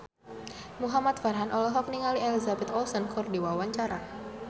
Muhamad Farhan olohok ningali Elizabeth Olsen keur diwawancara